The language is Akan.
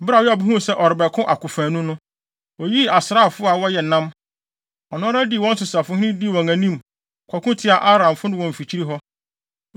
Bere a Yoab huu sɛ ɔrebɛko akofanu no, oyii asraafo a wɔyɛ nnam. Ɔno ara dii wɔn so safohene, dii wɔn anim, kɔko tiaa Aramfo no wɔ mfikyiri hɔ.